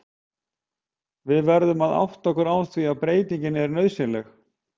Við verðum að átta okkur á því að breyting er nauðsynleg.